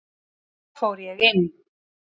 Þá fór ég inn.